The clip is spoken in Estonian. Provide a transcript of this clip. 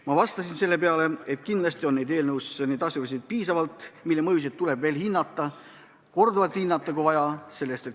Ma vastasin selle peale, et kindlasti on eelnõus piisavalt asjaolusid, mille mõju tuleb vajadusel veel korduvalt hinnata.